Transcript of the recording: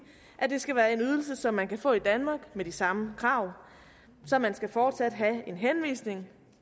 at det skal være en ydelse som man kan få i danmark med de samme krav så man skal fortsat have en henvisning